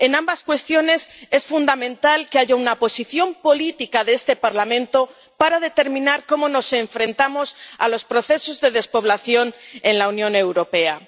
En ambas cuestiones es fundamental que haya una posición política de este Parlamento para determinar cómo nos enfrentamos a los procesos de despoblación en la Unión Europea.